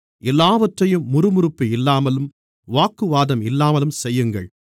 எல்லாவற்றையும் முறுமுறுப்பு இல்லாமலும் வாக்குவாதம் இல்லாமலும் செய்யுங்கள்